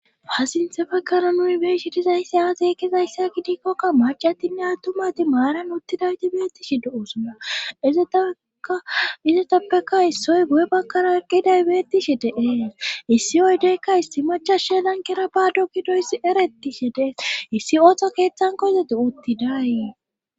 Faasinthefekara nuy beeshi dizayssi aazeekkizayssa gidikkokka macatinne attumati maaran uttidaydibeetishi do7osuna izeizetappeka issoy bu7e bakkara aqqidaybeettishi deee issi oydeykka issi macha she lankera baado gidoyssi erettishe dee issi ooththo keeththankoizoti uttidayi